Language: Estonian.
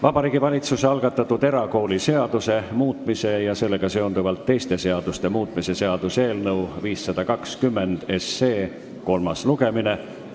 Vabariigi Valitsuse algatatud erakooliseaduse muutmise ja sellega seonduvalt teiste seaduste muutmise seaduse eelnõu 520 kolmas lugemine.